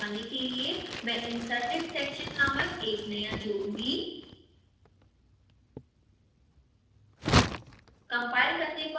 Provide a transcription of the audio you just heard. इसे आगे समझाने के लिए मैं inserted section नामक एक नया जोडूंगी